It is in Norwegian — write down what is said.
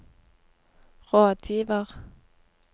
rådgiver